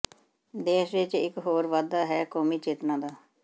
ਦੇਸ਼ ਵਿਚ ਇਕ ਹੋਰ ਵਾਧਾ ਹੈ ਕੌਮੀ ਚੇਤਨਾ ਦਾ